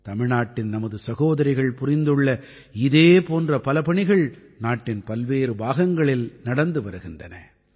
தமிழ்நாட்டின் நமது சகோதரிகள் புரிந்துள்ள இதே போன்ற பல பணிகள் நாட்டின் பல்வேறு பாகங்களில் நடந்து வருகின்றன